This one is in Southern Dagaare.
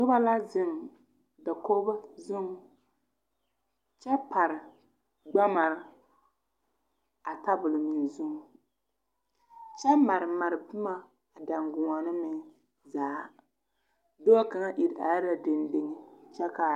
Noba la zeŋ dakoɡi zuŋ kyɛ pare ɡamar a tabol meŋ zuŋ kyɛ marmar boma a danɡoɔne meŋ zaa dɔɔ kaŋ iri are la dendeŋe kyɛ kaara.